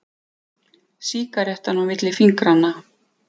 Sígarettan á milli fingranna.